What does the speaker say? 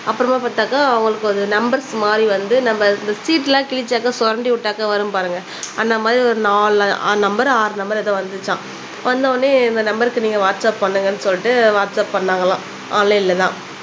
அப்புறமா பாத்தாக்கா அவளுக்கு ஒரு நம்பர்ஸ் மாதிரி வந்து நம்ப இந்த சீட்டுலாம் கிழிச்சாக்கா சொரண்டி விட்டாக்கா வரும் பாருங்க அந்த மாதிரி ஒரு நாலு நம்பர் ஆறு நம்பர் எதோ வந்துச்சாம் வந்தோனே இந்த நம்பர்க்கு நீங்க வாட்ஸாப் பண்ணுங்கனு சொல்லிட்டு வாட்ஸாப் பண்ணாங்களாம் ஆன்லைன்ல தான்